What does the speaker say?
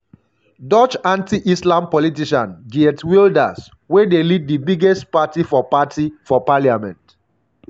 dutch anti-islam politician geert wilders wey dey lead di biggest party for party for parliament